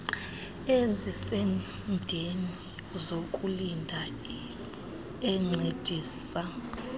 ezisemdeni zokulinda encedisa